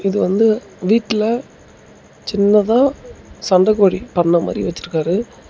இது வந்து வீட்டுல சின்னதா சண்டக்கோழி பண்ண மாரி வெச்சுருக்காரு.